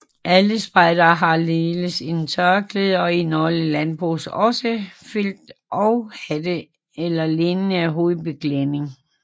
Alle spejdere har ligeledes et tørklæde og i nogle lande bruges også felttogshatte eller lignende hovedbeklædning